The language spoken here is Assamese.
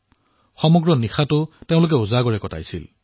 গোটেই নিশাটো তেওঁলোকে সাৰে আছিল